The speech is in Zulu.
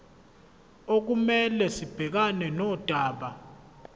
okumele sibhekane nodaba